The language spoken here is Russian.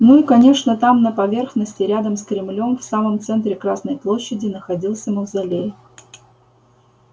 ну и конечно там на поверхности рядом с кремлём в самом центре красной площади находился мавзолей